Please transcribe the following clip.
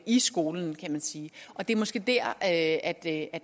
i skolen kan man sige og det er måske der at